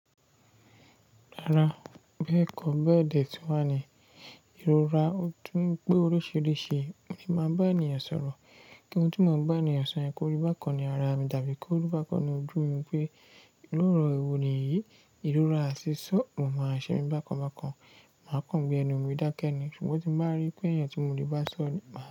Rárá, bẹ́ẹ̀ kọ́, bẹ́ẹ̀dẹ tí wá ni ìrora, ó tún pé oríṣìíríṣìí ni màá bá ènìyàn sọ̀rọ̀. Ntí mò ń bá ènìyàn sọ̀rọ̀ ni pé koribákọ̀ ni ara mi tàbí koribákọ̀ ni ojú mi pé lóòrè wo nìyí, ìrora ṣiṣọ́ kò máa ṣe mí bákan bákan, màá kàn wí gbẹnu mi dákẹ́ ni. Ṣùgbọ́n tí mo bá rí pé ènìyàn tí mò lè bá sọ̀rọ̀ ni.